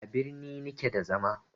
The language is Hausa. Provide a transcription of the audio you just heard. A birni ni ke da zama